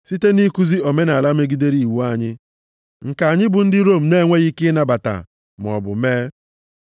site nʼikuzi omenaala megidere iwu anyị, nke anyị bụ ndị Rom na-enweghị ike ịnabata maọbụ mee.”